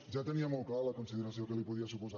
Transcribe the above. ja tenia molt clara la consideració que li podia suposar